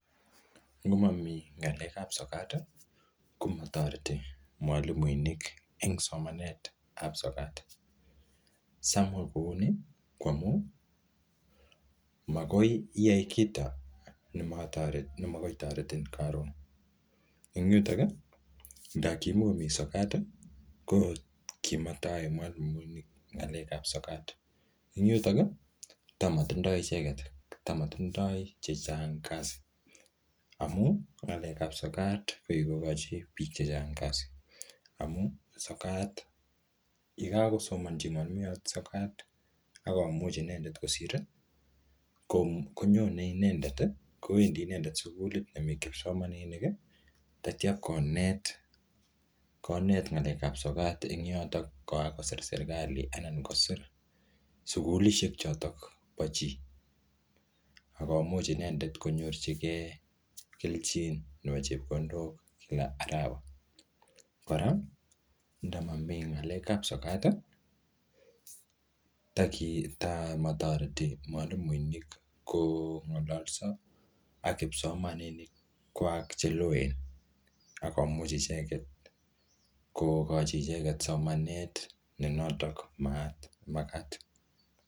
ngomomi ngalekab sokati komotoreti mwalimuinik en somanetab sokat samwa kouni ko amun makoiyai kito nemokoitoretin karon en yutoki ndokimomi sokat i kokimtayae mwalimuinik ngalekab sokat en yuton yuu toss matindoi chechang kasi amuu ngalekab sokat kokikokochi biik chechang kasi amun sokat yekakosomonchi mwalimuinik sokat akomuch inendet kosiri konyone inendet kowendi inendet sugulit nemi kipsomaniniki teityo konet ngalekab sokati en yotok yekakosir serkalit anan kosir sugulishek chotok boo chi akomuch inendet konyorchikee kelchin nepo chepkondok kila arawa kora ndamomi ngalekab sokati taki motoreti mwalimuinik kongololso ak kipsomaninikwak cheloen akomuch icheket kokochi icheket somanet nenotok nemakat